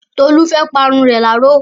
Tolú fẹ́ pa irun rẹ̀ láró.